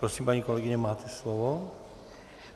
Prosím, paní kolegyně, máte slovo.